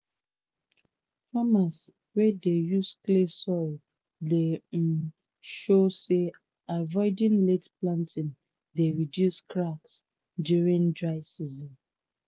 farmers wey dey use clay soil dey um show say avoiding late planting dey reduce cracks during dry season.